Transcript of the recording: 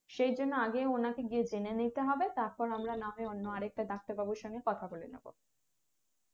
সেই জন্য আগে ওনাকে গিয়ে জেনে নিতে হবে তারপর না হয় আমরা অন্য আরেকটা ডাক্তার বাবুর সঙ্গে কথা বলে নেবো